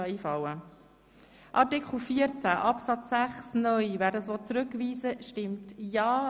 Wer Artikel 14 Absatz 6(neu) zurückweisen will, stimmt ja,